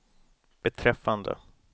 beträffande